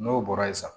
N'o bɔra ye sisan